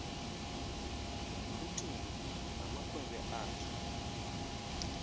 umphuthumi namakhwenkwe akhe